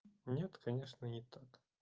нет конечно не так